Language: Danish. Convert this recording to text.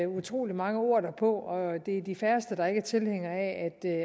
utrolig mange ord derpå og det er de færreste der ikke er tilhængere af